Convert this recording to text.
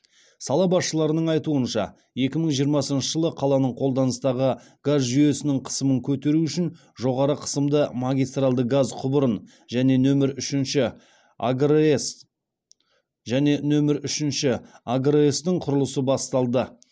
сала басшыларының айтуынша екі мың жиырмасыншы жылы қаланың қолданыстағы газ жүйесінің қысымын көтеру үшін жоғары қысымды магистралды газ құбырын және нөмір үшінші агрс тың құрылысы басталды